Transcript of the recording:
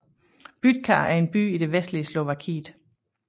Bytča er en by i det vestlige Slovakiet